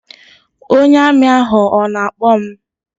Ọnye Armi ahụ ọ na-akpọ m?